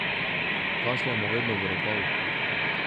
Kašljamo vedno v rokav.